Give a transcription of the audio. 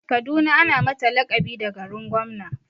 Kaduna ana mata laƙabi da garin gwamna.